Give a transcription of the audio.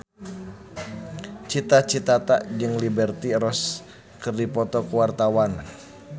Cita Citata jeung Liberty Ross keur dipoto ku wartawan